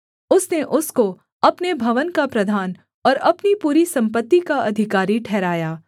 उसने उसको अपने भवन का प्रधान और अपनी पूरी सम्पत्ति का अधिकारी ठहराया